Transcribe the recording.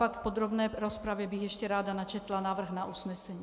Pak v podrobné rozpravě bych ještě ráda načetla návrh na usnesení.